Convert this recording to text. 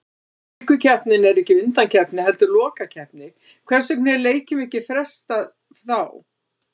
Afríkukeppnin er ekki undankeppni heldur lokakeppni, hvers vegna er leikjum ekki frestað þá?